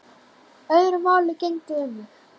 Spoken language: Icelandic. Öðru máli gegndi um mig.